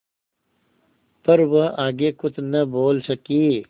पर वह आगे कुछ न बोल सकी